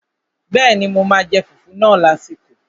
Bẹ́ẹ̀ni, mo máa jẹ fùfú náà lásìkò